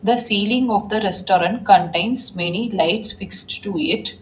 The ceiling of the restaurant contains many lights fixed to it.